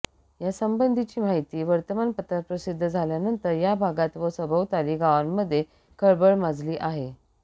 यासंबंधीची माहिती वर्तमानपत्रात प्रसिद्ध झाल्यानंतर या भागात व सभोवताली गावांमध्ये खळबळ माजली आहे